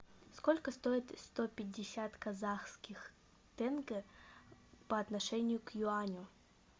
сколько стоят сто пятьдесят казахских тенге по отношению к юаню